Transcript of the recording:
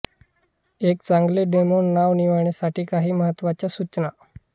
एक चांगले डोमेन नाव निवडण्यासाठी काही महत्त्वाच्या सूचना